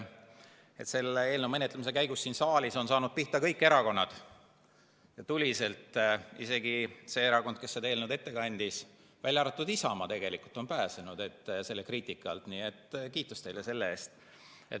Selle eelnõu menetlemise käigus siin saalis on saanud pihta kõik erakonnad ja tuliselt, isegi see erakond, kes seda eelnõu ette kandis, välja arvatud Isamaa, kes on tegelikult selle kriitika alt pääsenud, nii et kiitus teile selle eest.